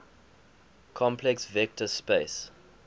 complex vector space